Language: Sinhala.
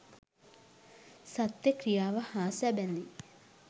සත්‍ය ක්‍රියාව හා සැබඳි